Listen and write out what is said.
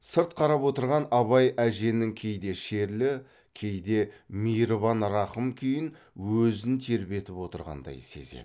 сырт қарап отырған абай әженің кейде шерлі кейде мейірбан рақым күйін өзін тербетіп отырғандай сезеді